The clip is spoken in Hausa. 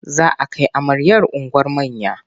Za a kai amaryar unguwar manya.